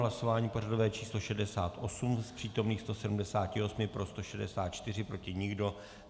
Hlasování pořadové číslo 68, z přítomných 178 pro 164, proti nikdo.